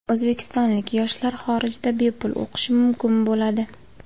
O‘zbekistonlik yoshlar xorijda bepul o‘qishi mumkin bo‘ladi.